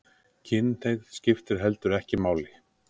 Kynhneigð skiptir heldur ekki máli